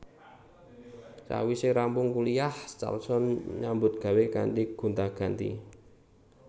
Sawise rampung kuliyah Carlson nyambut gawé kanthi gonta ganti